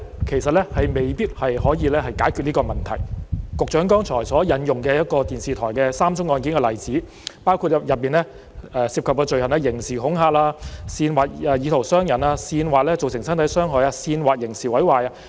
其實，現行法例未必可以解決這個問題，局長剛才引用有關一間電視台的3宗案件的例子，所涉罪行包括刑事恐嚇、煽惑意圖傷人、煽惑造成身體傷害及煽惑刑事毀壞。